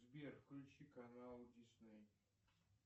сбер включи канал дисней